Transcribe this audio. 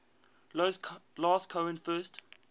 last cohen first